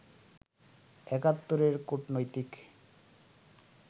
একাত্তরের কূটনৈতিক